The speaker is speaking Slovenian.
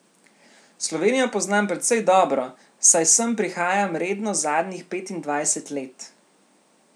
Slovenijo poznam precej dobro, saj sem prihajam redno zadnjih petindvajset let.